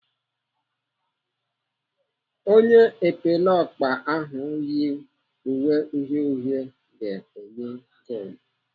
Onye epeleọkpa ahụ yi uwe uhie uhie ga-enye goolu.